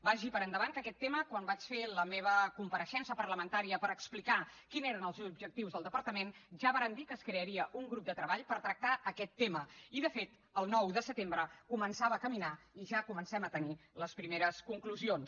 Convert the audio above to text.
vagi per endavant que aquest tema quan vaig fer la meva compareixença parlamentària per explicar quins eren els objectius del departament ja vàrem dir que es crearia un grup de treball per tractar aquest tema i de fet el nou de setembre començava a caminar i ja comencem a tenir les primeres conclusions